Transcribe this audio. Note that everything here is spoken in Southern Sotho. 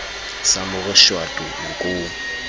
sa mo re shwato nkong